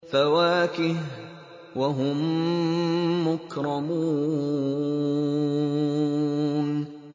فَوَاكِهُ ۖ وَهُم مُّكْرَمُونَ